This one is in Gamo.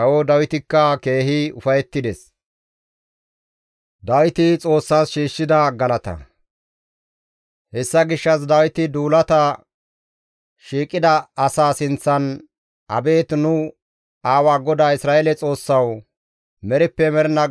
Hessa gishshas Dawiti duulata shiiqida asaa sinththan, «Abeet nu aawa GODAA Isra7eele Xoossawu! Merippe mernaa gakkanaas nees galatay gido.